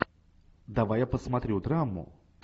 давай я посмотрю драму